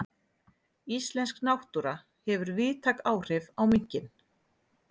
Íslensk náttúra hefur víðtæk áhrif á minkinn.